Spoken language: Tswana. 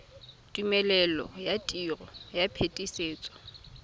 tumelelo ya tiro ya phetisetso